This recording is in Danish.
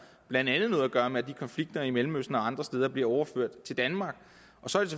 blandt andet noget at gøre med at de konflikter i mellemøsten og andre steder bliver overført til danmark så